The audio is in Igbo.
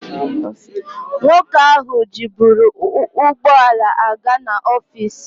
Nwoke ahụ jiburu ụgbọ ala a ga n'ọfis.